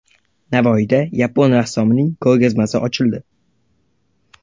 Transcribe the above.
Navoiyda yapon rassomining ko‘rgazmasi ochildi.